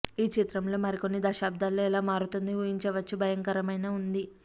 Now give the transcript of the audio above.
ఈ చిత్రంలో మరికొన్ని దశాబ్దాల్లో ఎలా మారుతుంది ఊహించవచ్చు భయంకరమైన ఉంది